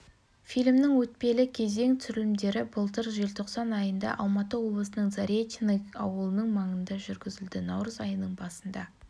фильмнің өтпелі кезең түсірілімдері былтыр желтоқсан айында алматы облысының заречный ауылының маңында жүргізілді наурыз айының басында